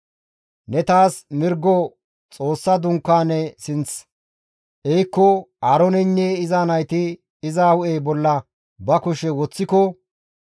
«Ne taas mirgo Xoossa Dunkaane sinth ehikko Aarooneynne iza nayti iza hu7e bolla ba kushe woththiko,